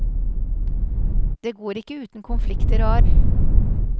Det går ikke uten konflikter og arr.